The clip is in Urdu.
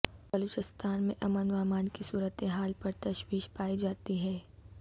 بلوچستان میں امن و امان کی صورتحال پر تشویش پائی جاتی ہے